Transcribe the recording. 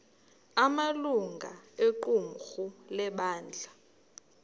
amalungu equmrhu lebandla